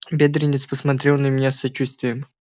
бедренец посмотрел на меня с сочувствием